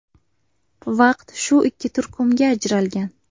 Vaqt shu ikki turkumga ajralgan.